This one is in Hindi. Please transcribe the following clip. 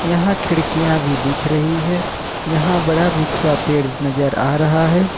यहां खिड़कियां भी दिख रही है यहां बड़ा सा पेड़ नजर आ रहा है।